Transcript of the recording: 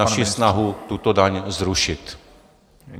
... naši snahu tuto daň zrušit.